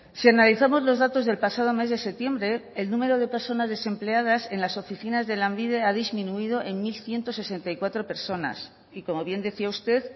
si analizamos los datos del pasado mes de septiembre el número de personas desempleadas en las oficinas de lanbide ha disminuido en mil ciento sesenta y cuatro personas y como bien decía usted